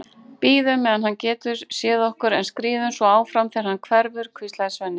Bíðum meðan hann getur séð okkur, en skríðum svo áfram þegar hann hverfur, hvíslaði Svenni.